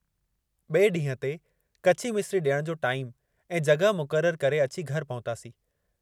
ॿिए ॾींहुं ते कची मिसिरी ॾियण जो टाइमु ऐं जॻहि मुक़ररु करे अची घर पहुतासीं।